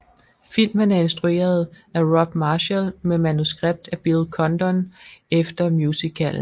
Filmen er instrueret af Rob Marshall med manuskript af Bill Condon efter musicalen